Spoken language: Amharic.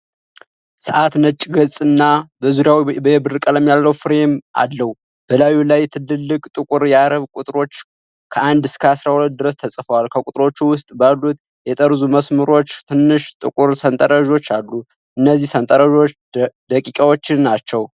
ሰዓቱ ነጭ ገጽና በዙሪያው የብር ቀለም ያለው ፍሬም አለው። በላዩ ላይ ትልልቅ ጥቁር የአረብ ቁጥሮች ከ1 እስከ 12 ድረስ ተጽፈዋል። ከቁጥሮቹ ውጪ ባሉት የጠርዙ መስመሮች ትናንሽ ጥቁር ሰንጠረዦች አሉ፤ እነዚህ ሰንጠረዦች ደቂቃዎችን ናቸው።